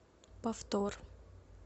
повтор